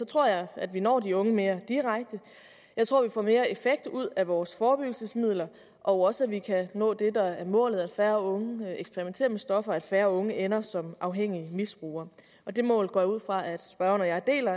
tror jeg at vi når de unge mere direkte jeg tror at vi får mere effekt ud af vores forebyggelsesmidler og også at vi kan nå det der er målet nemlig at færre unge eksperimenterer med stoffer og at færre unge ender som afhængige misbrugere det mål går jeg ud fra at spørgeren og jeg deler